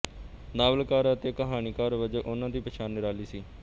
ਨਾਵਲਕਾਰ ਅਤੇ ਕਹਾਣੀਕਾਰ ਵਜੋਂ ਉਨ੍ਹਾਂ ਦੀ ਪਛਾਣ ਨਿਰਾਲੀ ਸੀ